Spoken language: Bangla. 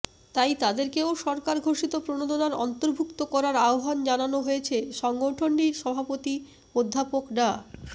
তাই তাদেরকেও সরকার ঘোষিত প্রণোদনার অন্তর্ভুক্ত করার আহ্বান জানানো হয়েছে সংগঠনটির সভাপতি অধ্যাপক ডা